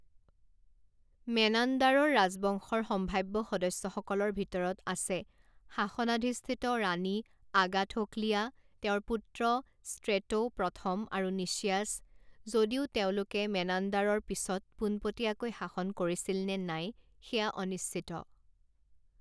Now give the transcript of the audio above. মেনাণ্ডাৰৰ ৰাজবংশৰ সম্ভাৱ্য সদস্যসকলৰ ভিতৰত আছে শাসনাধিষ্ঠ ৰাণী আগাথোকলিয়া, তেওঁৰ পুত্ৰ ষ্ট্ৰেটো প্ৰথম আৰু নিচিয়াছ, যদিও তেওঁলোকে মেনাণ্ডাৰৰ পিছত পোনপটীয়াকৈ শাসন কৰিছিল নে নাই সেয়া অনিশ্চিত।